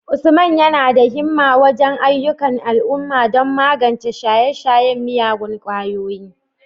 Usman yana da himma wajen ayyukan al'umma don magance shaye-shayen miyagun kwayoyi,